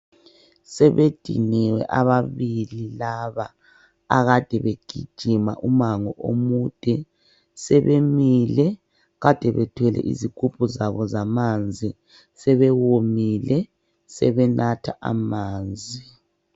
Sebediniwe ababili laba akade begijima umango omude sebemile kade bethwele izigubhu zabo zamanzi sebewomile sebenatha amanzi.